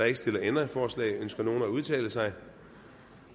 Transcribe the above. ikke stillet ændringsforslag ønsker nogen at udtale sig